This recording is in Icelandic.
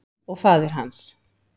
Og faðir hans?